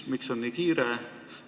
Miks on nii kiire?